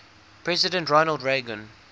president ronald reagan